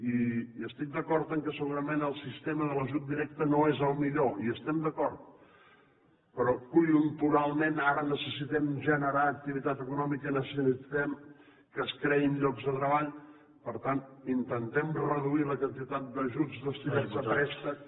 i estic d’acord que segurament el sistema de l’ajut directe no és el millor hi estem d’acord però conjunturalment ara necessitem generar activitat econòmica necessitem que es creïn llocs de treball per tant intentem reduir la quantitat d’ajuts destinats a préstec